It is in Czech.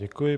Děkuji.